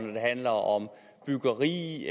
når det handler om byggeri